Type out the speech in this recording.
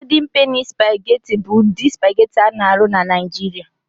Godin Peni Supagetị bụ ụdị supagetị a na-arụ na Niijiria.